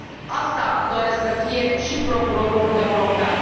Asta doresc să fie și Procurorul European.